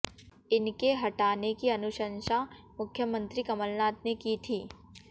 इनके हटाने की अनुशंसा मुख्यमंत्री कमलनाथ ने की थी